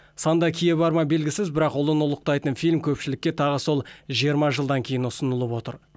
санда кие барма белгісіз бірақ ұлын ұлықтайтын фильм көпшілікке тағы сол жиырма жылдан кейін ұсынылып отыр